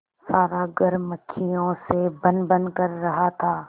सारा घर मक्खियों से भनभन कर रहा था